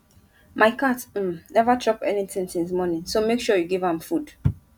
my cat um never chop anything since morning so make sure you give am food